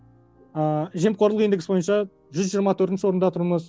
ыыы жемқорлық индексі бойынша жүз жиырма төртінші орында тұрмыз